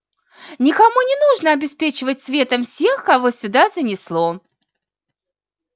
никому не нужно обеспечивать светом всех кого сюда занесло